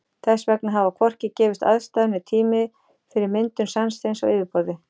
Þess vegna hafa hvorki gefist aðstæður né tími fyrir myndun sandsteins á yfirborði.